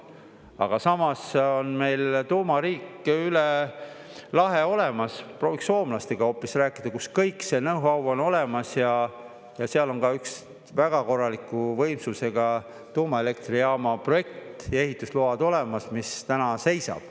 Aga samas on meil tuumariik üle lahe olemas – prooviks soomlastega hoopis rääkida, kus kõik see know-how on olemas ja seal on ka üks väga korraliku võimsusega tuumaelektrijaama projekt ja ehitusload olemas, mis täna seisab.